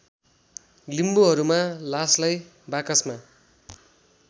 लिम्बूहरूमा लासलाई बाकसमा